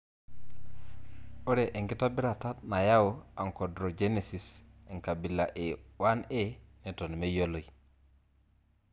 Ore enkitobirata nayau achondrogenesis enkabila e 1A neton meyioloi.